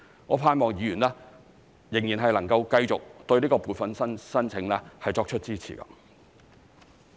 我盼望議員仍然能夠繼續對撥款申請作出支持。